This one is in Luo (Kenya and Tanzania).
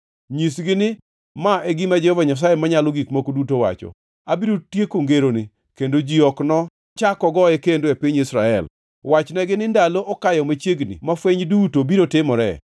Nyisgi ni ma e gima Jehova Nyasaye Manyalo Gik Moko Duto wacho: Abiro tieko ngeroni, kendo ji ok nochak ogoe kendo e piny Israel. Wachnegi ni, ‘Ndalo okayo machiegni ma fweny duto biro timoree.’